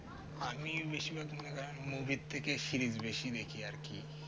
আমি বেশির ভাগ কারণ movie থেকে series দেখি বেশি আর কি